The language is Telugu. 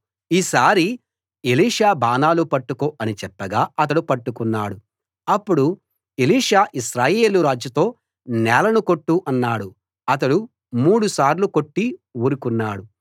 ఈసారి ఎలీషా బాణాలు పట్టుకో అని చెప్పగా అతడు పట్టుకున్నాడు అప్పుడు ఎలీషా ఇశ్రాయేలు రాజుతో నేలను కొట్టు అన్నాడు అతడు మూడు సార్లు కొట్టి ఊరుకున్నాడు